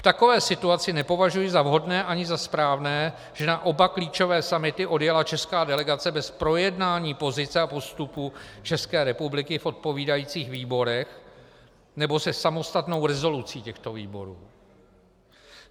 V takové situaci nepovažuji za vhodné ani za správné, že na oba klíčové summity odjela česká delegace bez projednání pozice a postupu České republiky v odpovídajících výborech nebo se samostatnou rezolucí těchto výborů.